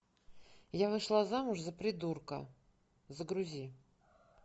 я вышла замуж за придурка загрузи